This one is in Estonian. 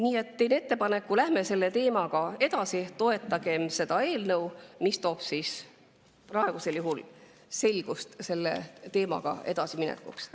Nii et teen ettepaneku: läheme selle teemaga edasi, toetame seda eelnõu, mis toob selgust selle teemaga edasiminekuks.